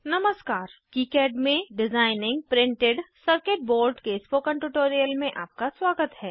नमस्कार किकाड में designing printed circuit board के स्पोकन ट्यूटोरियल में आपका स्वागत है